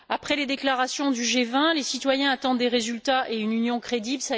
Après les déclarations du G20, les citoyens attendent des résultats et une Union crédible.